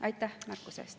Aitäh märkuse eest!